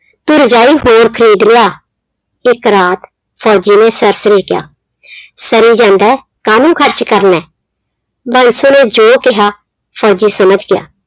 ਤੂੰ ਰਜਾਈ ਹੋਰ ਖ਼ਰੀਦ ਲਿਆ, ਇੱਕ ਰਾਤ ਫ਼ੋਜ਼ੀ ਨੇ ਸਰਸਰੇ ਕਿਹਾ ਸਨੀ ਕਹਿੰਦਾ ਹੈ ਕਾਹਨੂੰ ਖ਼ਰਚ ਕਰਨਾ ਹੈ, ਬਾਂਸੋ ਨੇ ਜੋ ਕਿਹਾ ਫ਼ੋਜ਼ੀ ਸਮਝ ਗਿਆ।